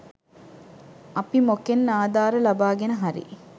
අපි මොකෙන් ආධාර ලබාගෙන හරි